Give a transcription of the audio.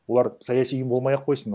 олар саяси ұйым болмай ақ қойсын